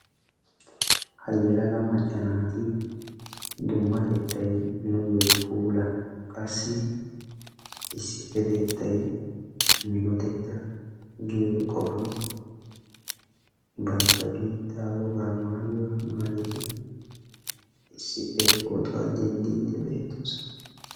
Ha yeelaga macca naati dummatettay nuuyo puula, qassi issipetettay minotetta: giyo qofaan bantta biittaa woga maayuwa maayidi issippe pootuwaa denddiidi de'osona.